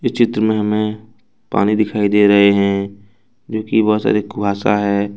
इस चित्र में हमें पानी दिखाई दे रहे हैं जो की बहुत अधिक कुहासा है।